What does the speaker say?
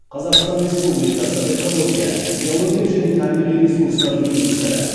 қазақстан республикасы экология геология және табиғи ресурстар министрі